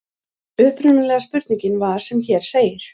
Upprunalega spurningin var sem hér segir: